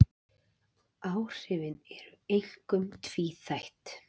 Áhrifin voru einkum tvíþætt